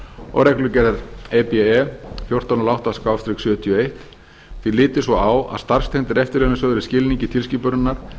og reglugerðar e b e fjórtán hundruð og átta sjötíu og eitt því litið svo á að starfstengdir eftirlaunasjóðir í skilningi tilskipunarinnar